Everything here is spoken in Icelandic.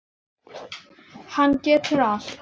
Hann getur allt.